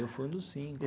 Eu fui um dos cinco.